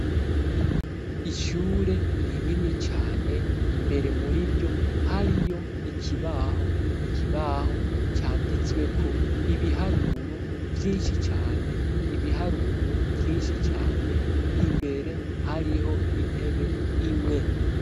Ishure rinini cane imbere muriryo hariyo ikibaho ikibaho canditsweko ibiharuro vyinshi cane, ibiharuro vyinshi cane imbere hariho intebe imwe.